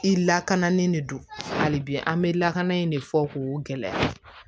I lakanalen de don hali bi an bɛ lakana in de fɔ k'o gɛlɛya